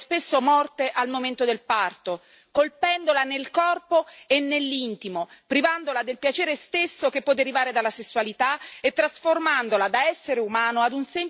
colpendola nel corpo e nell'intimo, privandola del piacere stesso che può derivare dalla sessualità e trasformandola da essere umano ad un semplice contenitore di riproduzione ad